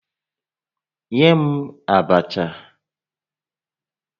Nye m abacha!